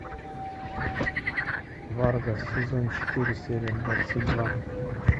фарго сезон четыре серия двадцать два